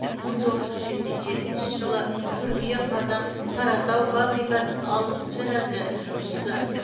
мың тоғыз жүз сексен жетінші жылы қыркүйек қазан қаратау фабрикасының алтыншы разрядты жұмысшысы